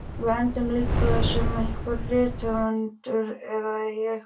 Við endum líklega sem rithöfundar eða í einhverri skáldsögu.